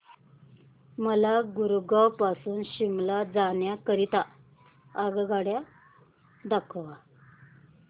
मला गुरगाव पासून शिमला जाण्या करीता आगगाड्या दाखवा